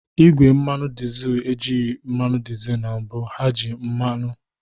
Igwe mmanụ dizel ejighị mmanụ dizel na mbụ, ha na-eji mmanụ